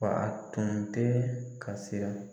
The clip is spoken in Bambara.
Wa a tun tɛ ka siran